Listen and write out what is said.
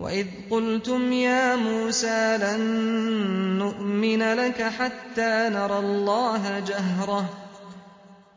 وَإِذْ قُلْتُمْ يَا مُوسَىٰ لَن نُّؤْمِنَ لَكَ حَتَّىٰ نَرَى اللَّهَ جَهْرَةً